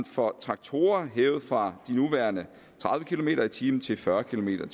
for traktorer hævet fra de nuværende tredive kilometer per time til fyrre kilometer